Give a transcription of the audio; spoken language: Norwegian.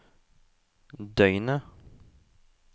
døgnet